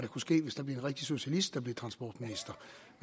kunne ske hvis det blev en rigtig socialist der blev transportminister